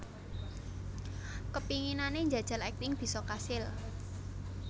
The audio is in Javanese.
Kepinginane njajal akting bisa kasil